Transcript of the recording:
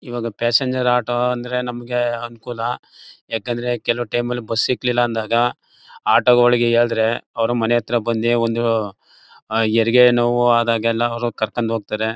ಈವಾಗ passenger auto ಅಂದ್ರೆ ನಮಗೆ ಅನುಕೂಲ ಯಾಕಂದ್ರೆ ಕೆಲವ್ ಟೈಮೆಲ್ಲಿ ಬಸ್ ಸಿಕ್ಲಿಲ್ಲ ಅಂದಾಗ ಆಟೋಗಳಿಗೆ ಹೇಳಿದ್ರೆ ಅವ್ರು ಮನೆ ಹತ್ರ ಬಂದಿ ಒಂದು ಹೆರಿಗೆ ನೋವು ಆದಾಗೆಲ್ಲ ಅವ್ರು ಕರ್ಕೊಂಡ್ ಹೋಗ್ತಾರೆ.